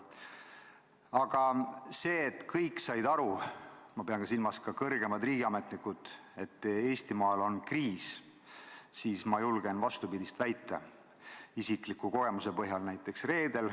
Aga see, et kõik said aru, ma pean silmas ka kõrgemaid riigiametnikke, et Eestimaal on kriis – ma julgen isikliku kogemuse põhjal vastupidist väita.